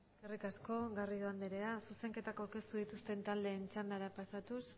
eskerrik asko garrido andrea zuzenketak aurkeztu dituzten taldeen txandara pasatuz